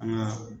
An ka